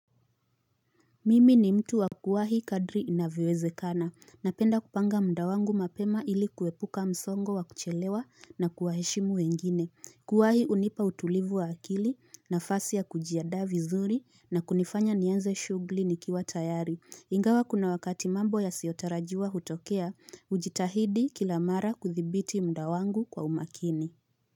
Mimi ni mtu wa kuwahi kadri inavyowezekana, napenda kupanga muda wangu mapema ili kuepuka msongo wa kuchelewa na kuwaheshimu wengine, kuwahi hunipa utulivu wa akili nafasi ya kujiandaa vizuri na kunifanya nianze shughuli nikiwa tayari, ingawa kuna wakati mambo yasiyotarajiwa hutokea, hujitahidi kila mara kuthibiti muda wangu kwa umakini.